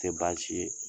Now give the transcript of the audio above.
Tɛ baasi ye